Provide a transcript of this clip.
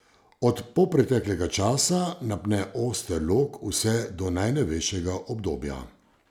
Od polpreteklega časa napne oster lok vse do najnovejšega obdobja.